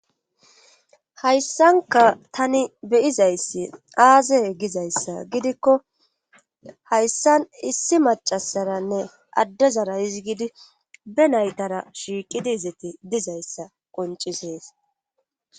hayssanka tani beyizayssi aazey gizayssa gidikko hayssan issi macasaranne addezara izigidi be naytara shiiqidi izeti dizayssa qoncisees